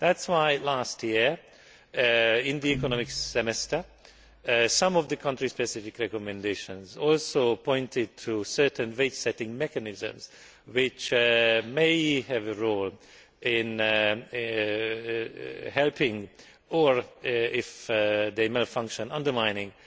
That is why last year, in the economic semester, some of the country specific recommendations also pointed to certain wage setting mechanisms which may have a role in helping or, if they malfunction, undermining